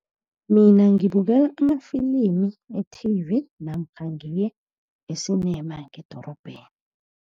Mina ngibukela amafilimi e-T_V, namkha ngiye e-cinema ngedorobheni.